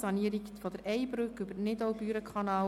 Sanierung der EyBrücke über den Nidau-Büren-Kanal.